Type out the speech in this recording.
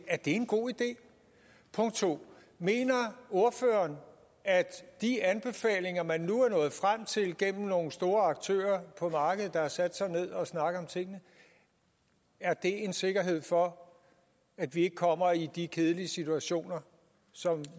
er det en god idé punkt 2 mener ordføreren at de anbefalinger man nu er nået frem til gennem at nogle store aktører på markedet har sat sig ned og snakket om tingene er en sikkerhed for at vi ikke kommer i de kedelige situationer som